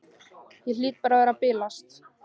Hlýt bara að vera að bilast.